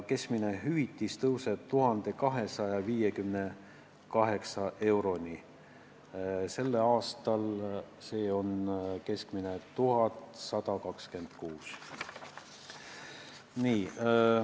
Keskmine hüvitis tõuseb 1258 euroni, sel aastal on keskmine 1126 eurot.